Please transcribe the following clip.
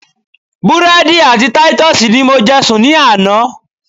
Búrédì àti Titus ni mo je sùn ní àná